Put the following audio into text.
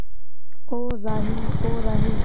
ओ राही ओ राही